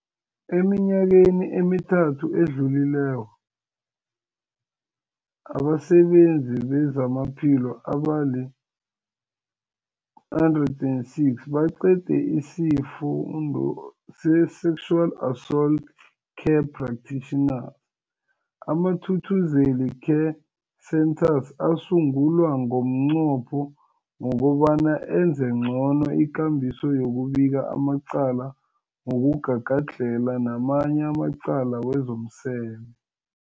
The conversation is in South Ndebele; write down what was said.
Eminyakeni emithathu edluleko, abasebenzi bezamaphilo abali-106 baqede isiFundo se-Sexual Assault Care Practitioner. AmaThuthuzela Care Centres asungulwa ngomnqopho wokobana enze ngcono ikambiso yokubika amacala wokugagadlhela namanye amacala wezomseme.